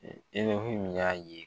min y'a ye